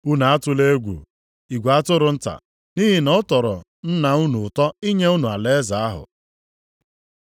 “Unu atụla egwu, igwe atụrụ nta, nʼihi na ọ tọrọ Nna unu ụtọ inye unu alaeze ahụ.